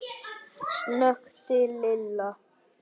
snökti Lilla.